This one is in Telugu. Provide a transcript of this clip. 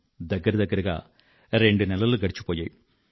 దగ్గరదగ్గరగా రెండునెలలు గడిచిపోయాయి